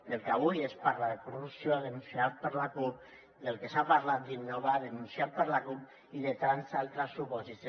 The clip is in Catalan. del que avui es parla de corrupció denunciat per la cup del que s’ha parlat d’innova denunciat per la cup i de tants altres supòsits